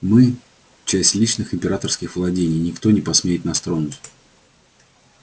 мы часть личных императорских владений и никто не посмеет нас тронуть